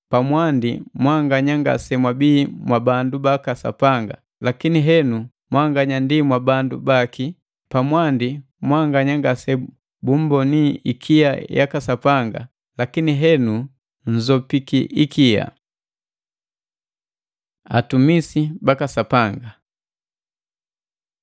Pamwandi mwanganya ngasemwabii mwabandu baka Sapanga, lakini henu mwanganya ndi mwabandu baki; pamwandi mwanganya ngasebumboni ikia yaka Sapanga, lakini henu nnzopiki ikia. Atumisi baka Sapanga